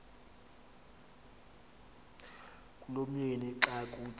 kulomyeni xa kuthi